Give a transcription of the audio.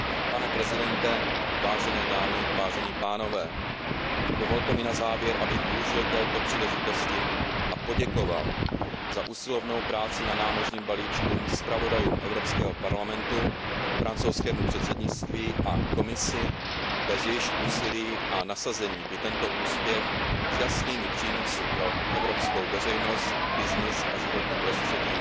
Pane předsedo, vážené dámy, vážení pánové, dovolte mi na závěr, abych využil této příležitosti a poděkoval za usilovnou práci na námořním balíčku zpravodajům Evropského parlamentu, francouzskému předsednictví a Komisi, bez jejichž úsilí a nasazení by tento úspěch s jasnými přínosy pro evropskou veřejnost, business a životní prostředí